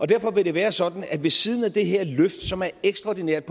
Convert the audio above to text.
derfor vil det være sådan at der ved siden af det her løft som er ekstraordinært